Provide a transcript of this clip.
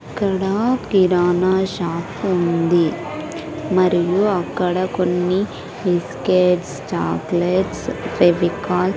ఇక్కడ కిరాణా షాప్ ఉంది మరియు అక్కడ కొన్ని బిస్కెట్స్ చాక్లెట్స్ ఫెవికాల్ .